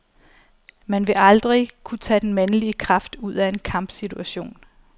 Man vil aldrig kunne tage den mandlige kraft ud af en kampsituation.